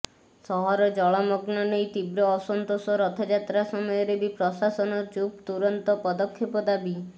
ସହର ଜଳମଗ୍ନ ନେଇ ତୀବ୍ର ଅସନ୍ତୋଷ ରଥଯାତ୍ରା ସମୟରେ ବି ପ୍ରଶାସନ ଚୁପ ତୁରନ୍ତ ପଦକ୍ଷେପ ଦାବୀ